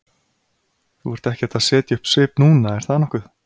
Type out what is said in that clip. Þú ert ekkert að setja upp svip núna, er það nokkuð?